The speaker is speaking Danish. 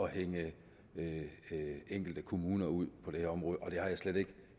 hænge enkelte kommuner ud på det her område og det har jeg slet ikke